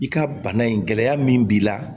I ka bana in gɛlɛya min b'i la